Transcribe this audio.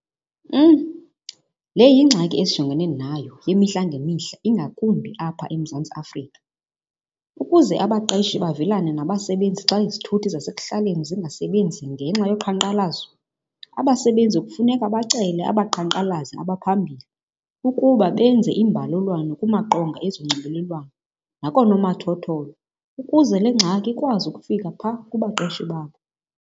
Le yingxaki esijongene nayo imihla ngemihla ingakumbi apha eMzantsi Afrika. Ukuze abaqeshi bavelane nabasebenzi xa izithuthi zasekuhlaleni zingasebenzi ngenxa yoqhankqalazo, abasebenzi kufuneka bacele abaqhankqalazi abaphambili ukuba benze imbalelwano kumaqonga ezonxibelelwano nakoonomathotholo, ukuze le ngxaki ikwazi ukufika phaa kubaqeshi babo.